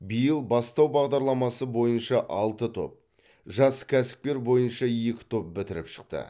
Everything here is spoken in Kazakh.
биыл бастау бағдарламасы бойынша алты топ жас кәсіпкер бойынша екі топ бітіріп шықты